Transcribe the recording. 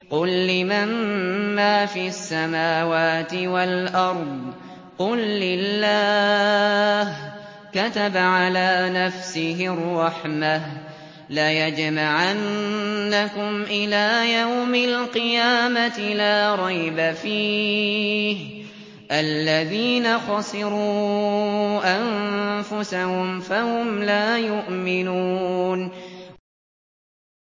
قُل لِّمَن مَّا فِي السَّمَاوَاتِ وَالْأَرْضِ ۖ قُل لِّلَّهِ ۚ كَتَبَ عَلَىٰ نَفْسِهِ الرَّحْمَةَ ۚ لَيَجْمَعَنَّكُمْ إِلَىٰ يَوْمِ الْقِيَامَةِ لَا رَيْبَ فِيهِ ۚ الَّذِينَ خَسِرُوا أَنفُسَهُمْ فَهُمْ لَا يُؤْمِنُونَ